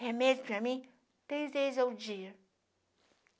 Remédio para mim, três vezes ao dia.